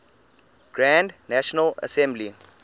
grand national assembly